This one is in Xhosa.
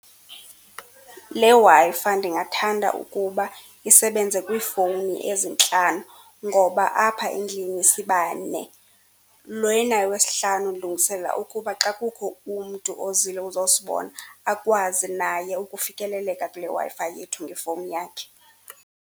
Le Wi-Fi ndingathanda ukuba isebenze kwiifowuni ezintlanu ngoba apha endlini sibane. wesihlanu ndilungiselela ukuba xa kukho umntu ozile uzosibona, akwazi naye ukufikeleleka kule Wi-Fi yethu ngefowuni yakhe.